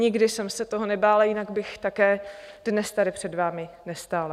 Nikdy jsem se toho nebála, jinak bych také dnes tady před vámi nestála.